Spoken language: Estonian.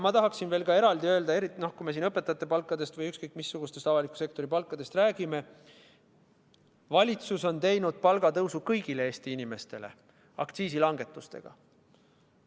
Ma tahaksin veel eraldi öelda seda – eriti kui me siin õpetajate palkadest või ükskõik missugustest avaliku sektori palkadest räägime –, et valitsus on teinud palgatõusu kõigile Eesti inimestele aktsiisi langetamisega.